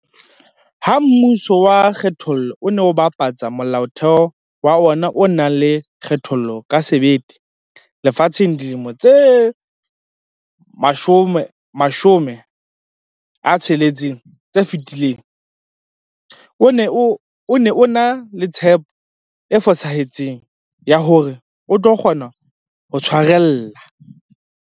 Ha mmuso wa kgethollo o ne o bapatsa Molaotheo wa ona o nang le kgethollo ka sebete lefatsheng dilemong tse 60 tse fetileng, o ne o ena le tshepo e fosahetseng ya hore o tlo kgona ho tshwarella.